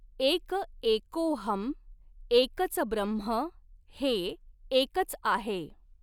एक एकोऽहम् एकच ब्रह्म हें एकच आहे.